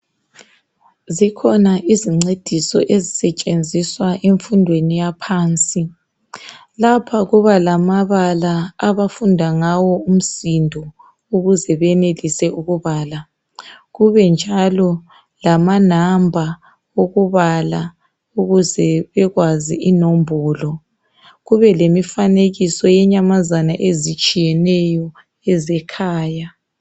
Zikhona izincediso ezisetshenziswa emfundweni yaphansi. Lapha kuba lamabala abafunda ngawo umsindo ukuze benelise ukubala, kube njalo lamanamba okubala ukuze bekwazi inombolo, kube lemifanekiso yenyamazana ezitshiyeneyo yezekhaya.